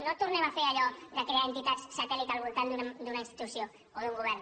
no tornem a fer allò de crear entitats satèl·lit al voltant d’una institució o d’un govern